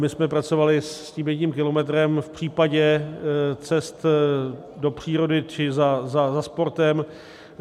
My jsme pracovali s tím jedním kilometrem v případě cest do přírody či za sportem.